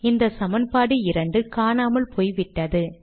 இந்த சமன்பாடு 2 காணாமல் போய்விட்டது